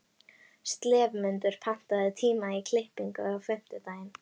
slefmundur, pantaðu tíma í klippingu á fimmtudaginn.